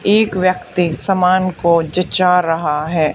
एक व्यक्ति समान को जचा रहा है।